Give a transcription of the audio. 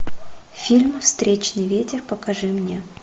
фильм встречный ветер покажи мне